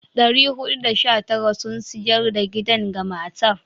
419 sun sayar da gidan ga matar.